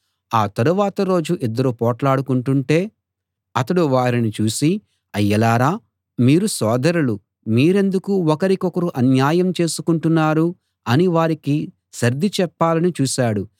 ఆ తరువాత రోజు ఇద్దరు పోట్లాడుకుంటుంటే అతడు వారిని చూసి అయ్యలారా మీరు సోదరులు మీరెందుకు ఒకరికొకరు అన్యాయం చేసుకుంటున్నారు అని వారికి సర్ది చెప్పాలని చూశాడు